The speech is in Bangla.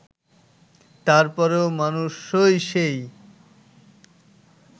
তারপরও মানুষই সেই